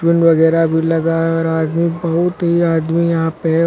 वगैरा भी लगा है और आदमी बहुत ही आदमी यहां पे है।